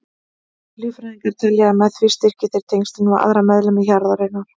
Líffræðingar telja að með því styrki þeir tengslin við aðra meðlimi hjarðarinnar.